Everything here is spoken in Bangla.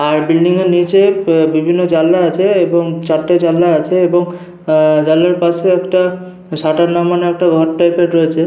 আর বিল্ডিং -এর নিচে বিভিন্ন জানলা আছে এবং চারটি জানলা আছে এবং জানলার পাশে একটা শাটার লাগানো ঘর টাইপ -এর রয়েছে ।